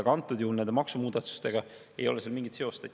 Aga antud juhul nende maksumuudatustega ei ole sel mingit seost.